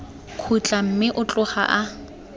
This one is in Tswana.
khutla mme o tloga a